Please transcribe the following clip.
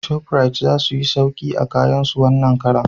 Shofrit za suyi sauki a kayan su wannan karan